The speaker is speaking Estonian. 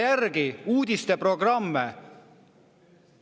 Vaadake uudiseprogrammidest järele.